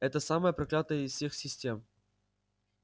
это самая проклятая из всех систем